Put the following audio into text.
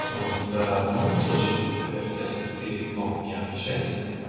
потому что в данном случае например если бы ты мог не отвечать